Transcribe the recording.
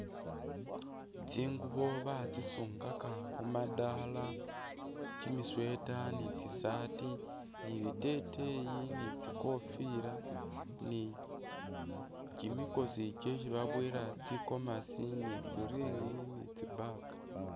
Tsingubo batsisungaka khu madala, kimisweater ni tsisaati ni biteteyi ni tsikofila ni kimikosi kyesi boboyela tsi gomasi ni tsi ring ni tsi bag.